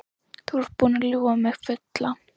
Þú ert búinn að ljúga mig fulla.